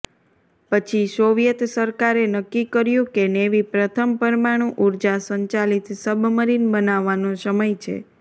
પછી સોવિયેત સરકારે નક્કી કર્યું કે નેવી પ્રથમ પરમાણુ ઊર્જા સંચાલિત સબમરીન બનાવવાનો સમય છે